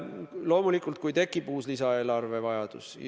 Loomulikult võib tekkida uus lisaeelarve vajadus.